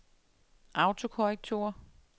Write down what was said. autokorrektur